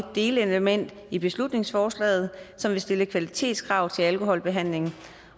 delelement i beslutningsforslaget som vil stille kvalitetskrav til alkoholbehandlingen